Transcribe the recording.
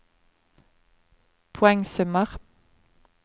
poengsummer